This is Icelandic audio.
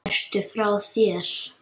Ertu frá þér!